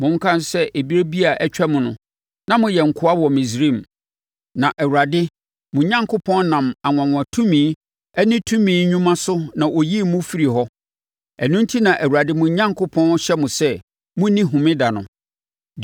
Monkae sɛ berɛ bi a atwam no na moyɛ nkoa wɔ Misraim, na Awurade, mo Onyankopɔn, nam anwanwa tumi ne tumi nnwuma so na ɔyii mo firii hɔ. Ɛno enti na Awurade mo Onyankopɔn hyɛ mo sɛ monni homeda no.